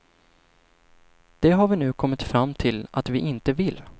Det har vi nu kommit fram till att vi inte vill.